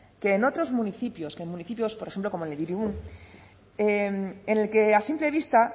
que en otros municipios en municipios por ejemplo como el que a simple